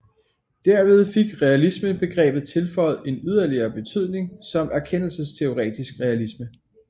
Derved fik realismebegrebet tilføjet en yderligere betydning som erkendelsesteoretisk realisme